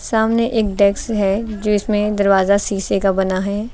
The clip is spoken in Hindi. सामने एक डेस्क है जिसमें दरवाजा शीशे का बना है।